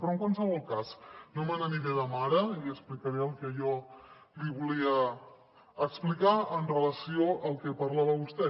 però en qualsevol cas no me n’aniré de mare i li explicaré el que jo li volia explicar amb relació al que parlava vostè